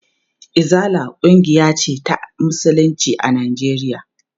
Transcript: Izala ƙungiya ce ta musulunci a Najeriya.